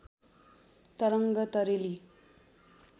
तरङ्ग तरेली